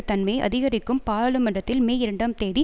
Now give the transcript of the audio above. தன்மையை அதிகரிக்கும் பாராளுமன்றத்தில் மே இரண்டாம் தேதி